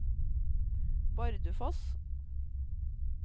Bardufoss